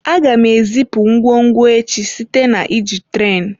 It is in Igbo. Aga m ezipu ngwongwo echi site na iji tren.